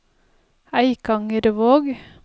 Eikangervåg